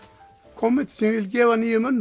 komment sem ég vil gefa nýjum mönnum